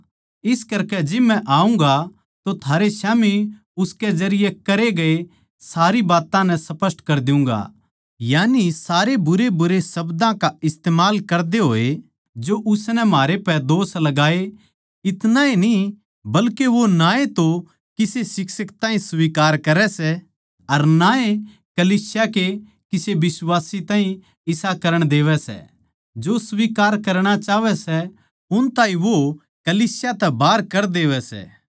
इस करकै जिब मै आऊँगा तो थारे स्याम्ही उसके जरिये करे गये सारी बात्तां नै स्पष्ट कर देऊँगा यानी सारे बुरेबुरे शब्दां का इस्तमाल करदे होए जो उसनै म्हारे पै दोष लगाए इतणाए न्ही बल्के वो ना ए तो किसे शिक्षक ताहीं स्वीकार करै सै अर ना ए कलीसिया के किसे बिश्वासी ताहीं इसा करण देवै सै जो स्वीकार करणा चाहवै सै उन ताहीं वो कलीसिया तै बाहर कर देवै सै